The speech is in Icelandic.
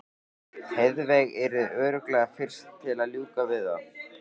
Heiðveig yrði örugglega fyrst til að ljúka við það.